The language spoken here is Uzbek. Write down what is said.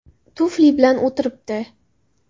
Tufli bilan o‘tiribdi.